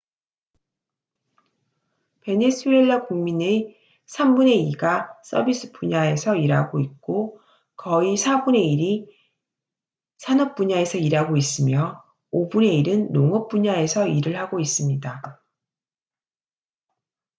베네수엘라 국민의 3분의 2가 서비스 분야에서 일하고 있고 거의 4분의 1이 산업 분야에서 일하고 있으며 5분의 1은 농업 분야에서 일을 하고 있습니다